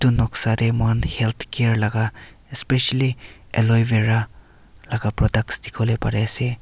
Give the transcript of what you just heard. noksa te moikhan HealthCare laga especially aloevera laga products dikhiwo le pari ase.